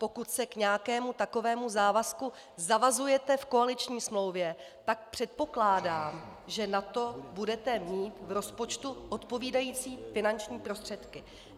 Pokud se k nějakému takovému závazku zavazujete v koaliční smlouvě, tak předpokládám, že na to budete mít v rozpočtu odpovídající finanční prostředky.